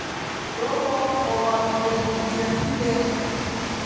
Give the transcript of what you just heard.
tomo kowol tebutiet kibet